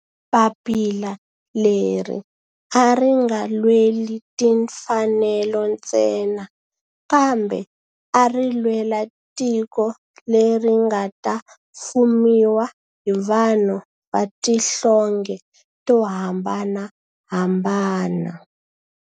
Papila leri a ri nga lweli timfanelo ntsena kambe ari lwela tiko leri nga ta fumiwa hi vanhu va tihlonge to hambanahambana.